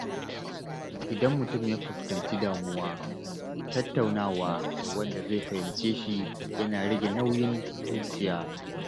Idan mutum ya fuskanci damuwa, tattaunawa da wanda zai fahimce shi yana rage nauyin zuciya.